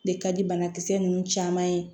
Ne ka di banakisɛ nunnu caman ye